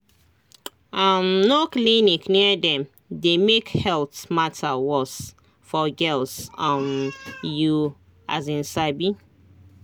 um no clinic near dem dey make health matter worse for girls um you um sabi